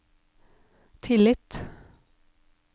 tillit